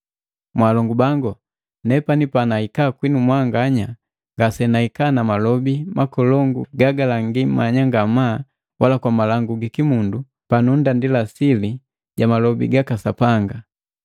Mwaalongu bangu, nepani panahika kwinu mwanganya ngasenahika na malobi makolongu gagalangi manya ngamaa wala kwa malangu giki mundu pa nunndandila sili ja malobi gaka Sapanga.